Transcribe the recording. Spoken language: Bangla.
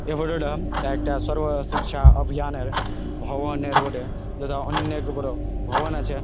এই ফটো -টা একটা সর্ব শিক্ষা অভিযানের ভবনের বটে যেটা অনেক বড় ভবন আছে।